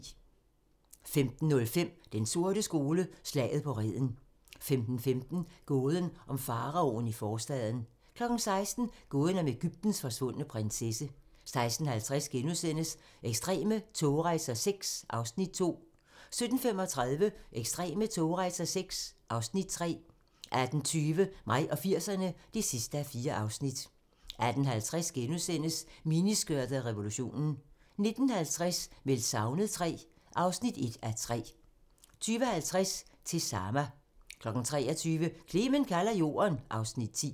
15:05: Den sorte skole: Slaget på Reden 15:15: Gåden om faraoen i forstaden 16:00: Gåden om Egyptens forsvundne prinsesse 16:50: Ekstreme togrejser VI (Afs. 2)* 17:35: Ekstreme togrejser VI (Afs. 3) 18:20: Mig og 80'erne (4:4) 18:50: Miniskørtet og revolutionen * 19:50: Meldt savnet III (1:3) 20:50: Til Sama 23:00: Clement kalder Jorden (Afs. 10)